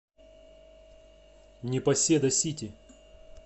непоседа сити